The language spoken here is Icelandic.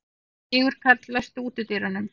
Sigurkarl, læstu útidyrunum.